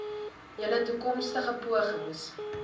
julle toekomstige pogings